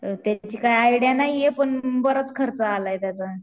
त्याची काही आयडिया नाहीये पण बराच खर्च आलाय त्याचा.